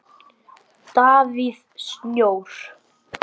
Davíð Snjór.